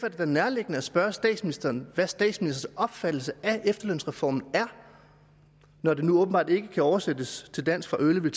er da nærliggende at spørge statsministeren hvad statsministerens opfattelse af efterlønsreformen er når det nu åbenbart ikke kan oversættes til dansk fra early